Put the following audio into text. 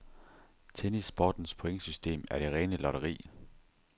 Tennissportens pointsystem er det rene lotteri.